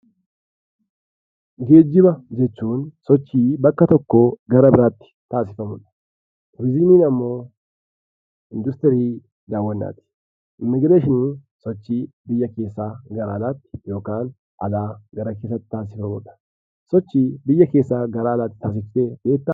Geejjiba jechuun sochii bakka tokkoo gara biraatti ta'udha. Turizimiin immoo industirii daawwannaati. Immigigireeshiniin sochii biyya keessaa gara alaatti yookiin alaa gara keessaatti taassifamudha. Sochii biyya keessaa gara alaa taassifame beektaa?